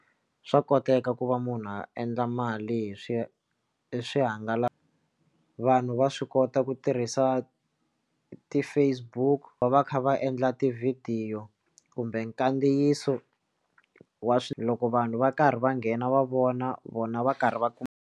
Swa koteka ku va munhu a endla mali hi swi swihangalasa vanhu va swi kota ku tirhisa ti-Facebook va va kha va endla tivhidiyo kumbe nkadziyiso wa loko vanhu va karhi va nghena va vona vona va karhi va kuma.